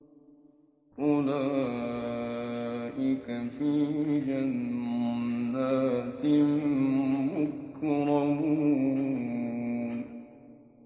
أُولَٰئِكَ فِي جَنَّاتٍ مُّكْرَمُونَ